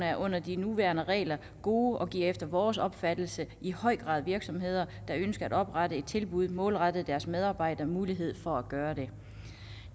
er under de nuværende regler gode og giver efter vores opfattelse i høj grad virksomheder der ønsker at oprette et tilbud målrettet deres medarbejdere mulighed for at gøre det